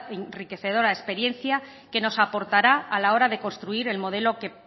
enriquecedora experiencia que nos aportará a la hora de construir el modelo que